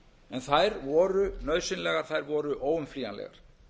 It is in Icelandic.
en þær voru nauðsynlegar þær voru óumflýjanlegar